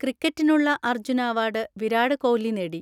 ക്രിക്കറ്റിനുള്ള Arjuna award Virat Kohli നേടി.